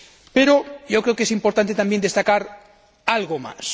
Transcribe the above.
Pero yo creo que es importante también destacar algo más.